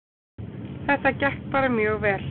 Þetta gekk bara mjög vel